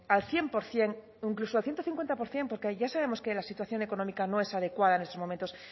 al cien por ciento incluso a ciento cincuenta por ciento porque ya sabemos que la situación económica no es adecuada en estos momentos